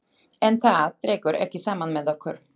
En það dregur ekki saman með okkur.